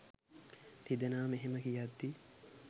තිදෙනාම එහෙම කියද්දී